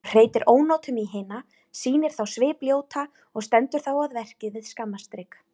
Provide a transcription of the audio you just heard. Hún hreytir ónotum í hina, sýnir þá svipljóta og stendur þá að verki við skammarstrik.